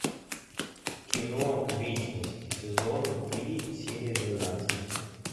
кино вечность сезон три серия двенадцать